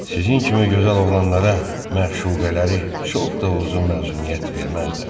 Sizin kimi gözəl oğlanlara məşuqələri çox da uzun məzuniyyət verməzlər.